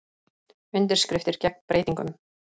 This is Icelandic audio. Undirskriftir gegn breytingum